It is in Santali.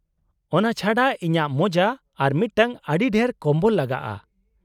-ᱚᱱᱟ ᱪᱷᱟᱰᱟ, ᱤᱧᱟᱹᱜ ᱢᱳᱡᱟ ᱟᱨ ᱢᱤᱫᱴᱟᱝ ᱟᱹᱰᱤ ᱰᱷᱮᱨ ᱵᱚᱢᱵᱚᱞ ᱞᱟᱜᱟᱜᱼᱟ ᱾